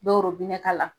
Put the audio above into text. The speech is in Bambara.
Dow bɛ ne ka la